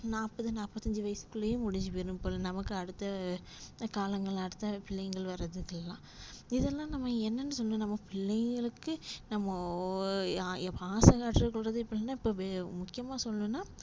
நாப்பது நாப்பத்தஞ்சு வயசுக்குல்லையே முடுஞ்சு போயிரும் போல நமக்கு அடுத்த அடுத்த காலங்கள் அடுத்த பிள்ளைங்கள் வரதுக்குள்ளா இதுல்லா நம்ம என்னன்னு சொல்றது நம்ம பிள்ளைகளுக்கு நம்ம பாசங்காற்றது கூட இப்போ என்னனா முக்கியமா சொல்னும்னா